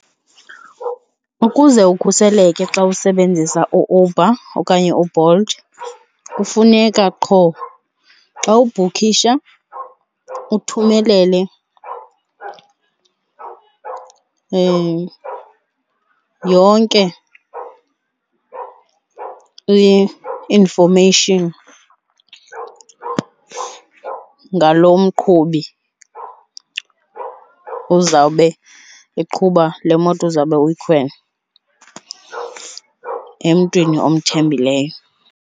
Ukuze ukhuseleke xa usebenzisa u-Uber okanye uBolt kufuneka qho xa ubhukhisha uthumelele yonke i-information ngaloo mqhubi uzawube eqhuba lemoto uzawube uyikhwele emntwini omthembileyo.